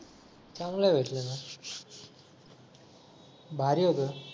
चांगलं भेटलं ना भारी होतं